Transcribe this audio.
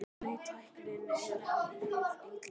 Nei, tæknin er hið illa.